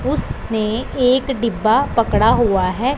उस ने एक डिब्बा पकड़ा हुआ है।